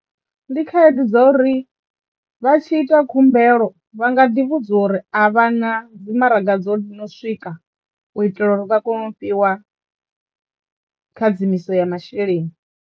Ndi khaedu dzo uri vha tshi ita khumbelo vha nga ḓi vhudzwa uri a vha na dzi maraga dzo no swika u itela uri vha kono u fhiwa khadzimiso ya masheleni.